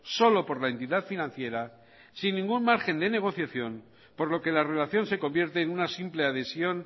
solo por la entidad financiera sin ningún margen de negociación por lo que la relación se convierte en una simple adhesión